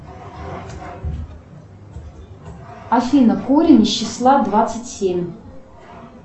афина корень из числа двадцать семь